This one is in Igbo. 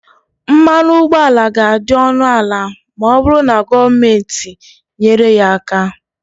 mmanụ ụgbọala ga-adị ọnụ ala ma ọ bụrụ na gọọmenti nyere ya aka